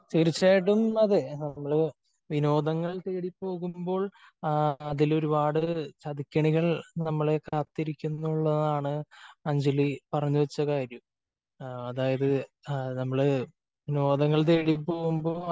തീർച്ചയായിട്ടും അതേ നമ്മൾ വിനോദങ്ങൾ തേടി പോകുമ്പോൾ ആ അതിൽ ഒരുപാട് ചതിക്കെണികൾ നമ്മളെ കാത്തിരിക്കുന്നു എന്നുള്ളതാണ് അഞ്ജലി പറഞ്ഞു വച്ച കാര്യം. അതായത് നമ്മള് വിനോദങ്ങൾ തേടി പോകുമ്പോ